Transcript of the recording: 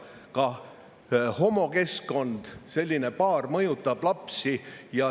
Ka homokeskkond ja selline paar mõjutab lapsi.